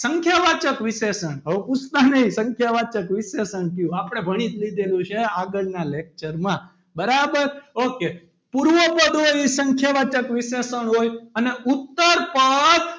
સંખ્યાવાચક વિશેષણ હવે પૂછતા નહિ સંખ્યાવાચક વિશેષણ કયું આપણે ભણી જ લીધેલું છે આગળના lecture માં બરાબર ok પૂર્વ પદોની સંખ્યા વાચક વિશેષણ હોય અને ઉત્તર પદ,